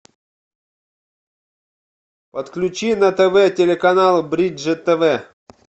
подключи на тв телеканал бридж тв